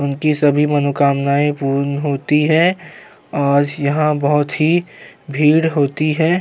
उनकी सभी मनोकामनाएं पूर्ण होती है आज यहाँ बहुत ही भीड़ होती है